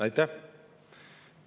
Aitäh!